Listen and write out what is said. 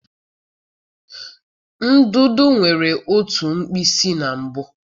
Ndụdụ nwere otú mkpịsị na mbụ.